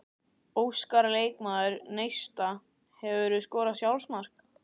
Óskar leikmaður Neista Hefurðu skorað sjálfsmark?